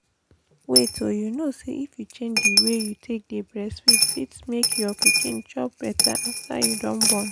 wait oh you kow say if you change the way you take dey breastfeed fit make your pikin chop better after you don born